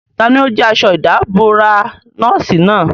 Tani ó jí aṣọ ìdàbora nọ́ọ̀sì náà?